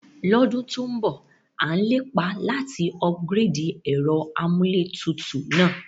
Lódún to n bọ̀, a n lépá láti upgrade ẹ́rọ amúlétutù náà